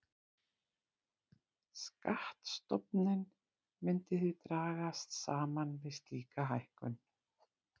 Skattstofninn myndi því dragast saman við slíka hækkun.